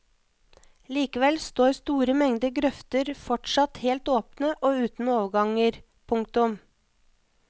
Likevel står store mengder grøfter fortsatt helt åpne og uten overganger. punktum